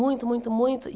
Muito, muito, muito.